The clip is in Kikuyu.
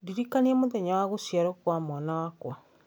ndirikania mũthenya wa gũciarwo kwa mwana wakwa